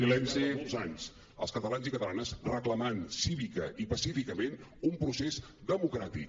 al llarg de molts anys els catalans i catalanes reclamant cívicament i pacífica·ment un procés democràtic